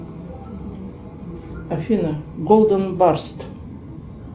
афина голден барст